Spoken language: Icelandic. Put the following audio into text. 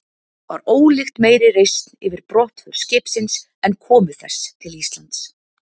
Var ólíkt meiri reisn yfir brottför skipsins en komu þess til Íslands.